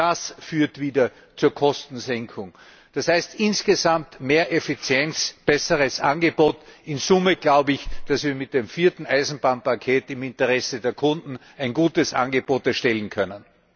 Auch das führt wieder zur Kostensenkung. Das heißt insgesamt mehr Effizienz, besseres Angebot. In Summe glaube ich, dass wir mit dem vierten Eisenbahnpaket im Interesse der Kunden ein gutes Angebot erstellen können.